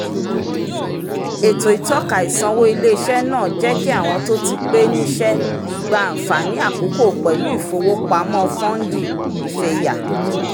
ètò ìtọ́ka ìsanwó ilé-iṣẹ́ náà jẹ́ kí àwọn tó ti pé níṣẹ́ gba àǹfààní àkókò pẹ̀lú ìfowópamọ́ fọ́ndì ìfẹ̀yà